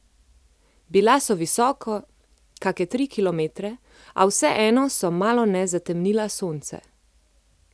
Bila so visoko, kake tri kilometre, a vseeno so malone zatemnila sonce.